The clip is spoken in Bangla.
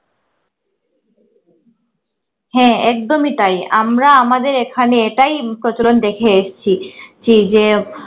হ্যা একদমই তাই আমরা আমাদের এখানে এটাই প্রচলন দেখে এসছি ছি যে